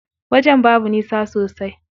Wajen babu nisa sosai.